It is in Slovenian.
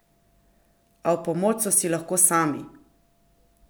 A v pomoč so si lahko sami!